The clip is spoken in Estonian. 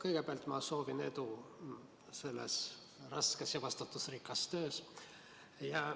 Kõigepealt ma soovin edu selles raskes ja vastutusrikkas töös.